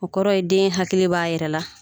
O kɔrɔ ye den hakili b'a yɛrɛ la